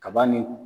Kaba ni